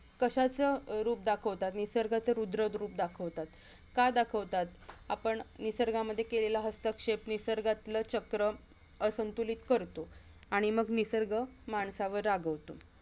कशाच रूप दाखवतात? निसर्गाच रुद्ररुप दाखवतात का दाखवतात? आपण निसर्गामध्ये केलेला हस्तक्षेप निसर्गाचं चक्र असंतुलित करतो आणि मग निसर्ग माणसावर रागावतो